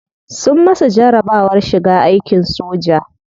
Sun masa jarabawar shiga aikin soja.